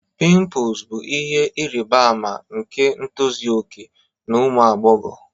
Pimples bụ ihe ịrịba ama nke ntozu okè na ụmụ agbọghọ